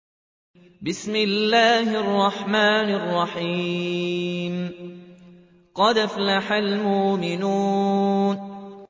قَدْ أَفْلَحَ الْمُؤْمِنُونَ